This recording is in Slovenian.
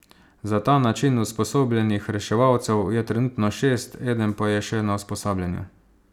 Za ta način usposobljenih reševalcev je trenutno šest, eden pa je še na usposabljanju.